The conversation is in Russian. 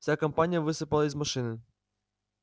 вся компания высыпала из машины